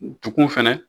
Du fɛnɛ